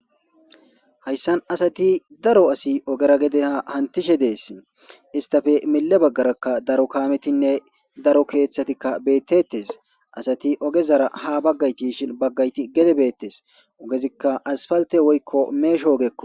hayssan asati daro asi ogera gede hantishe dees istafe mille baggarakka daro kaametinne daro keeththatikka beettettes asati ogezara ha baggayti shi baggayti gede beettes ogezikka asfalte woykko meesho ogekko